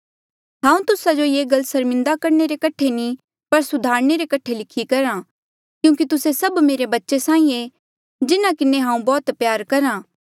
हांऊँ तुस्सा जो ये गल्ला सर्मिन्दा करणे रे कठे नी पर सुधारणे रे कठे लिखी करहा क्यूंकि तुस्से सभ मेरे बच्चे साहीं ऐें जिन्हा किन्हें हांऊँ बौह्त प्यार करहा